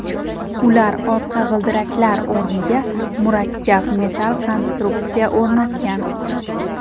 Ular orqa g‘ildiraklar o‘rniga murakkab metall konstruksiya o‘rnatgan.